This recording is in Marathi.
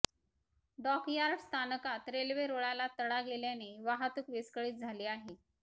डॉकयार्ड स्थानकात रेल्वे रुळाला तडा गेल्याने वाहतूक विस्कळीत झाली आहे